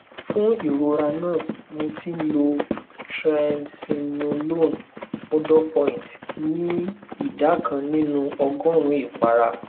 fún ìrora náà mo ti ń lo triamcinolone òdopoint ní ìdá kan nínú ọgọrùnún ìpara